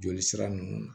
Joli sira nunnu na